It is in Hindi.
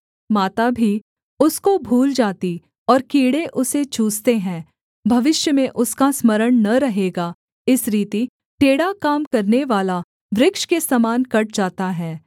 माता भी उसको भूल जाती और कीड़े उसे चूसते हैं भविष्य में उसका स्मरण न रहेगा इस रीति टेढ़ा काम करनेवाला वृक्ष के समान कट जाता है